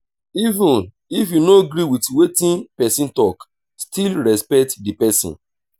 even if you no gree with wetin person talk still respect the person